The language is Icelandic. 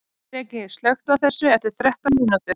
Dreki, slökktu á þessu eftir þrettán mínútur.